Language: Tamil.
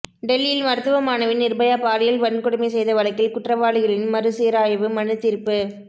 டெல்லியில் மருத்துவ மாணவி நிர்பயா பாலியல் வன்கொடுமை செய்த வழக்கில் குற்றவாளிகளின் மறுசீராய்வு மனு தீர்ப்பு